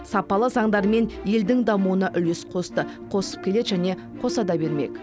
сапалы заңдарымен елдің дамуына үлес қосты қосып келеді және қоса да бермек